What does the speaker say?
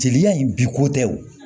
Jeli in bi ko tɛ o